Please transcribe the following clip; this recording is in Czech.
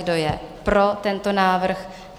Kdo je pro tento návrh?